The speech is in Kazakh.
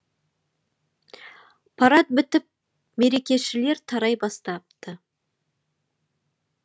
парад бітіп мерекешілер тарай бастапты